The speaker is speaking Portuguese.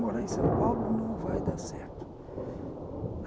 Morar em São Paulo não vai dar certo.